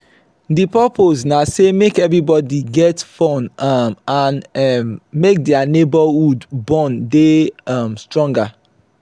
di purpose na say make everbody get fun um and um make their neighborhood bond de um stronger